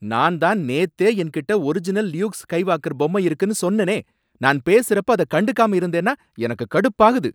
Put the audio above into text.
நான் தான் நேத்தே என்கிட்ட ஒரிஜினல் லியூக் ஸ்கைவாக்கர் பொம்மை இருக்குன்னு சொன்னேனே நான் பேசுறப்ப அத கண்டுக்காம இருந்தேனா எனக்கு கடுப்பாகுது.